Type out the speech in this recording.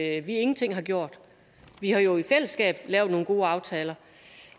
at vi ingenting har gjort vi har jo i fællesskab lavet nogle gode aftaler